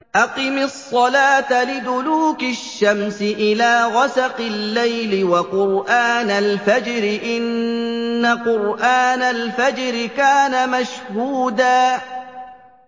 أَقِمِ الصَّلَاةَ لِدُلُوكِ الشَّمْسِ إِلَىٰ غَسَقِ اللَّيْلِ وَقُرْآنَ الْفَجْرِ ۖ إِنَّ قُرْآنَ الْفَجْرِ كَانَ مَشْهُودًا